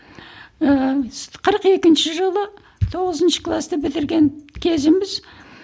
ыыы қырық екінші жылы тоғызыншы класты бітірген кезіміз